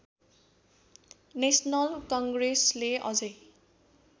national कङ्ग्रेसले अझै